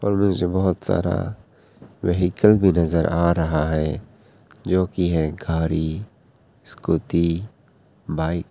और बहुत सारा व्हीकल भी नजर आ रहा है जोकि है गाड़ी स्कूटी बाइक